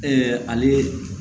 ale